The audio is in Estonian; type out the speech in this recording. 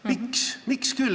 Miks küll?